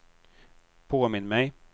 påminn mig